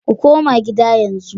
Ku koma gida yanzu